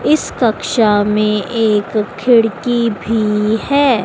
इस कक्षा में एक खिड़की भी है।